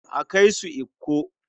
A kai su Ikko.